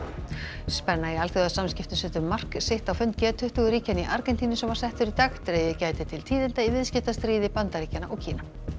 spenna í alþjóðasamskiptum setur mark sitt á fund g tuttugu ríkjanna í Argentínu sem var settur í dag dregið gæti til tíðinda í viðskiptastríði Bandaríkjanna og Kína